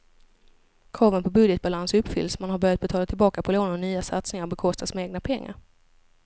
Kraven på budgetbalans uppfylls, man har börjat betala tillbaka på lånen och nya satsningar bekostas med egna pengar.